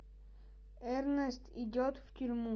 эрнест идет в тюрьму